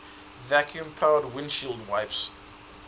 vacuum powered windshield wipers